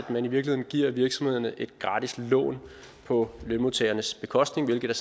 at man i virkeligheden giver virksomhederne et gratis lån på lønmodtagernes bekostning hvilket